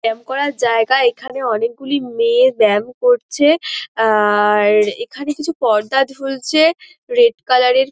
ব্যাম করার জায়গা এইখানে অনকে গুলি মেয়ে ব্যাম করছে । আ-র এইখানে কিছু পর্দা ঝুলছে রেড কালার -এর।